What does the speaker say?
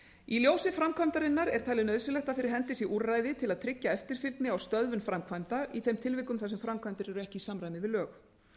í ljósi framkvæmdarinnar er talið nauðsynlegt að fyrir hendi sé úrræði til að tryggja eftirfylgni og stöðvun framkvæmda í þeim tilvikum þar sem framkvæmdir eru ekki í samræmi við lög